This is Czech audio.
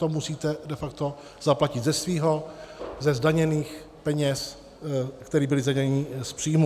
To musíte de facto zaplatit ze svého, ze zdaněných peněz, které byly zdaněny z příjmu.